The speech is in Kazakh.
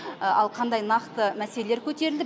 ал қандай нақты мәселелер көтерілді